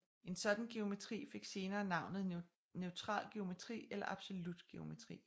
En sådan geometri fik senere navnet neutral geometri eller absolut geometri